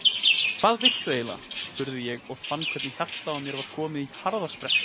Hvað viltu eiginlega? spurði ég og fann hvernig hjartað í mér var komið á harðasprett.